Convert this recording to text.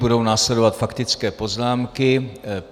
Budou následovat faktické poznámky.